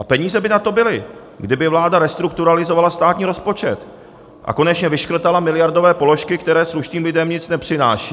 A peníze by na to byly, kdyby vláda restrukturalizovala státní rozpočet a konečně vyškrtala miliardové položky, které slušným lidem nic nepřinášejí.